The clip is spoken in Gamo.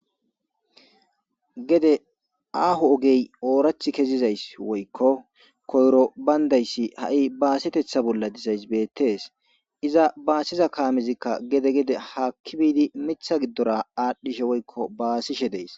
Gede aho ogey woyko kase baydays oorathi baasetizays betees. Iza bassiza kaamezika gede gede haaki biidi mitha gidora aadhidi baasishe dees.